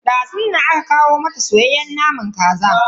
Dazun nan aka kawo mata soyayyen naman kasa.